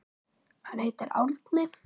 Hann heitir Árni.